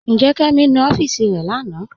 Njẹ́, Kẹmi nú ọfiísì rẹ̀ lánà?